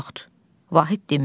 Bu vaxt Vahid dinmir.